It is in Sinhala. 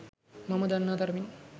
මම දන්නා තරමින්.